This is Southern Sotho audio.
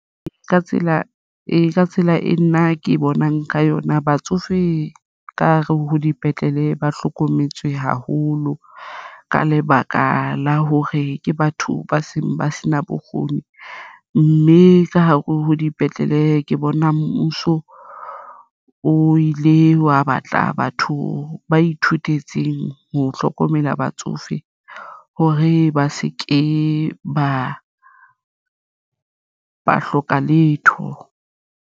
Ee, ka tsela e nna ke bonang ka yona. Batsofe ka hare ho dipetlele ba hlokometswe haholo ka lebaka la hore ke batho ba seng ba se na bokgoni, mme ka hare ho dipetlele ke bona mmuso o ile wa batla batho ba ithutetseng ho hlokomela batsofe hore ba se ke ba hloka letho.